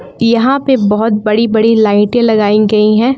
यहां पे बहोत बड़ी बड़ी लाइटें लगाई गई हैं।